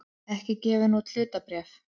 ekki gefin út hlutabréf.